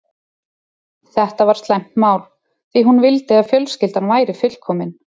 Þetta var slæmt mál, því hún vildi að fjölskyldan væri fullkomin.